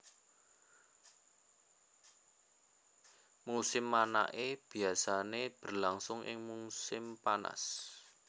Musim manaké biasané berlangsung ing musim panas